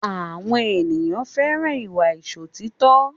Àwọn ènìyàn fẹ́ràn ìwà Ìṣòtítọ́